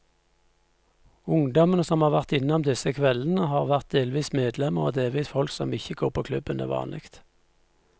Ungdommene som har vært innom disse kveldene, har vært delvis medlemmer og delvis folk som ikke går på klubben til vanlig.